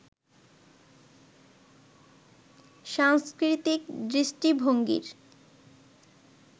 সাংস্কৃতিক দৃষ্টিভঙ্গির